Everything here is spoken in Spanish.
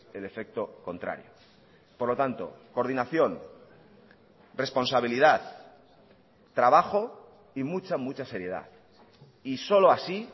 el efecto contrario por lo tanto coordinación responsabilidad trabajo y mucha mucha seriedad y solo así